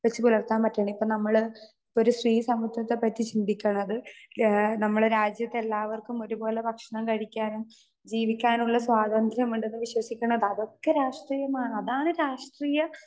Speaker 2 വച്ചുപുലർത്താൻ പറ്റണം. ഇപ്പോ നമ്മള് ഒരു സ്ത്രീ സമത്വത്തെപ്പറ്റി ചിന്തിക്കണത് ആ നമ്മടെ രാജ്യത്തെ എല്ലാവർക്കും ഒരുപോലെ ഭക്ഷണം കഴിക്കാനും ജീവിക്കാനും ഉള്ള സ്വാതന്ത്ര്യം ഉണ്ട് എന്ന് വിശ്വസിക്കണത് അതൊക്കെ രാഷ്ട്രീയമാണ്. അതാണ് രാഷ്ട്രീയ